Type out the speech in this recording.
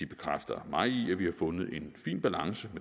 bekræfter mig i at vi har fundet en fin balance